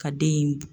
Ka den in